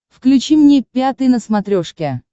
включи мне пятый на смотрешке